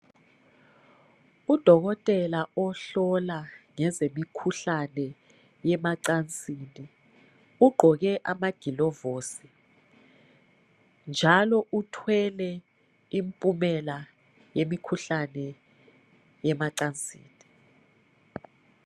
Udokotela ohlola ngezemikhuhlane yemancansini ugqoke amaglovosi njalo uthwele impumela yemikhuhlane yemancansini